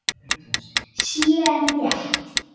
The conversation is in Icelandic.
sé rétt.